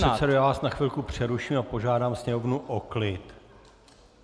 Pane předsedo, já vás na chvilku přeruším a požádám Sněmovnu o klid.